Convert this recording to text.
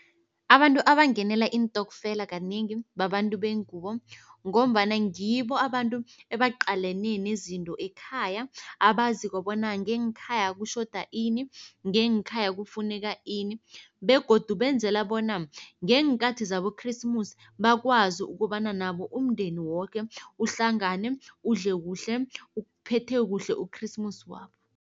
Abantu abangenela iintokfela kanengi babantu bengubo ngombana ngibo abantu ebaqalane nezinto ekhaya abaziko bona ngeenkhaya kutjhoda ini, ngeenkhaya kufuneka ini begodu benzela bona ngeenkathi zaboKresimusi bakwazi ukobana nabo umndeni woke uhlangane udle kuhle, uphethe kuhle uKresimusi wabo.